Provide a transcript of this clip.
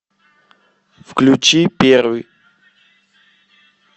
включи первый